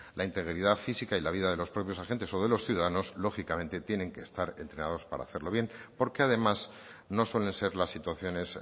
la integridad física y la vida de los propios agentes o de los ciudadanos lógicamente tienen que estar entrenados para hacerlo bien porque además no suelen ser las situaciones